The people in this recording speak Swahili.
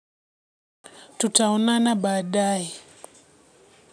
Tutaonana baadae.